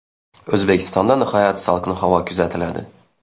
O‘zbekistonda nihoyat salqin havo kuzatiladi.